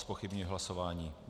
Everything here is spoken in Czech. Zpochybňuji hlasování.